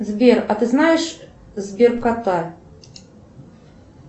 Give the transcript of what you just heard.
сбер а ты знаешь сбер кота